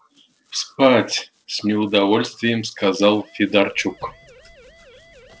спать с неудовольствием сказал федорчук